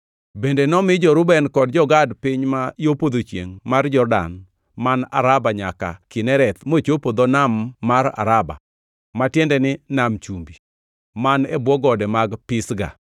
Bende nomi jo-Reuben kod jo-Gad piny ma yo podho chiengʼ mar Jordan man Araba nyaka Kinereth mochopo dho Nam mar Araba (ma tiende ni Nam Chumbi), man e bwo gode mag Pisga.